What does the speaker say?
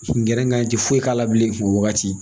Gɛrɛngan ti foyi k'a la bilen o wagati